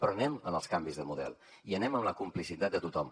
però anem als canvis de model i anem a la complicitat de tothom